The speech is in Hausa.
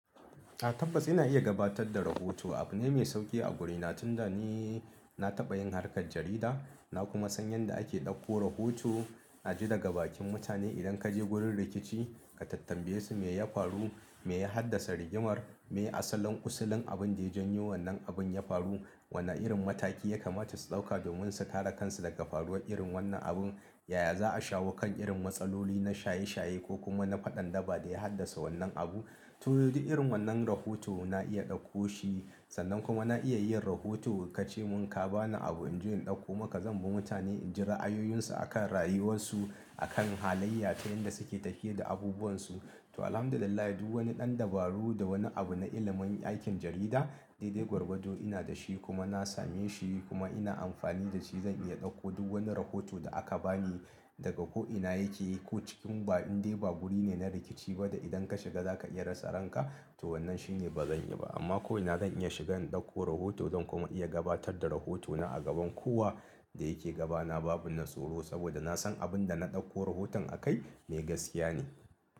A tabbas ina iya gabatar da rahoto. Abune mai sauki a guri na tunda ni na taɓa yin harkar jarida, na kuma san yadda ake ɗauko rahoto. Naji daga bakin mutane idan ka je wurin rikici ka tambaye su me ya faru, me ya haddasa rigimar, me asalin ƙusilin abin da ya janyo wannan abin ya faru, wana irin mataki ya kamata su ɗauka domin su kare kansu daga faruwar irin wannan abun, yaya za a shawo kan irin matsaloli na shaye-shaye ko kuma na faɗan-daba da ya haddasa wannan abu. Duk irin wannan rahoto na iya dauko shi sannan kuma na iya yin rahoto. Ka ce mun ka ba ni abu in je in ɗauko maka, zan bi mutane in ji ra'ayoyinsu a kan rayuwarsu, a kan halayya ta yanda suke tahiye da abubuwansu. To, alhamdulillah, duk wani ɗan dabaru da wani abu na ilimin aikin jarida dai-dai gwargwadon ina da shi kuma na same shi kuma ina amfani da shi. Zan iya ɗauko duk wani rahoto da aka bani daga ko'ina yake ko cikin inda ba guri ne na rikici ba da idan ka shiga za ka iya rasa ranka, to wannan shine ba zan yi ba. Amma ko'ina zan iya shigan ɗauko rahoto zan kuma iya gabatar da rahotona a gaban kowa da yake gabana babu na tsoro saboda na san abin da na ɗauko rahoton a kai mai gaskiya ne.